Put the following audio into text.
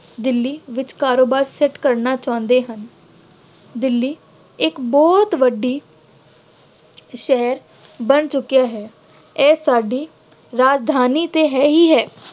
ਦਿੱਲੀ ਵਿੱਚ ਕਾਰੋਬਾਰ ਸੈੱਟ ਕਰਨਾ ਚਾਹੁੰਦੇ ਹਨ। ਦਿੱਲੀ ਇੱਕ ਬਹੁਤ ਵੱਡੀ ਸ਼ੈਅ ਬਣ ਚੁੱਕਿਆ ਹੈ। ਇਹ ਸਾਡੀ ਰਾਜਧਾਨੀ ਤੇ ਹੈ ਹੀ ਹੈ।